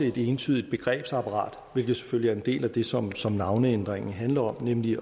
et entydigt begrebsapparat hvilket selvfølgelig er en del af det som som navneændringen handler om nemlig